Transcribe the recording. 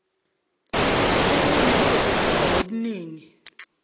ubunye buzohlanganisa nobuningi